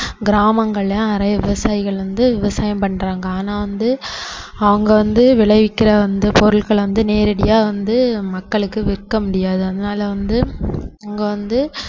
கிராமங்கள்ல நிறைய விவசாயிகள் வந்து விவசாயம் பண்றாங்க ஆனா வந்து அவங்க வந்து விளைவிக்கிற வந்து பொருட்களை வந்து நேரடியா வந்து மக்களுக்கு விற்க முடியாது அதனால வந்து அவங்க வந்து